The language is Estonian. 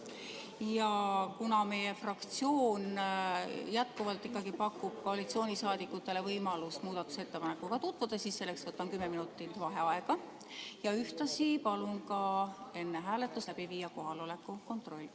Ja kuna meie fraktsioon jätkuvalt pakub koalitsiooniliikmetele võimalust muudatusettepanekuga tutvuda, võtan kümme minutit vaheaega ja ühtlasi palun enne hääletust läbi viia kohaloleku kontrolli.